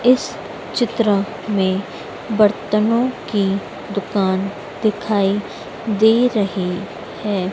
इस चित्र में बर्तनों की दुकान दिखाई दे रही है।